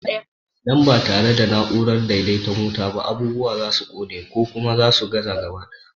Idan ba tare da na'urar daidaita wuta ba, abubuwa za su ƙone, ko kuma su gaza gaba ɗaya.